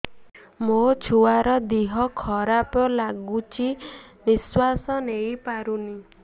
ମୋ ଛୁଆର ଦିହ ଖରାପ ଲାଗୁଚି ନିଃଶ୍ବାସ ନେଇ ପାରୁନି